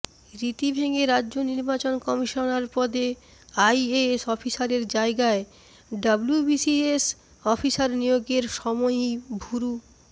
রীতি ভেঙে রাজ্য নির্বাচন কমিশনার পদে আইএএস অফিসারের জায়গায় ডব্লিউবিসিএস অফিসার নিয়োগের সময়ই ভুরু